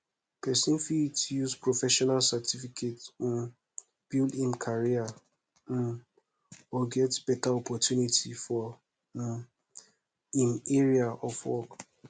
person fit use professional certificate um build im career um or get better opportunity for um im area of work